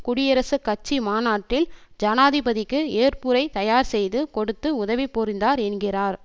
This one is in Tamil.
குடியரசு கட்சி மாநாட்டில் ஜனாதிபதிக்கு ஏற்புரை தயார் செய்து கொடுத்து உதவி புரிந்தார் என்கிறார்